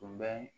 Tun bɛ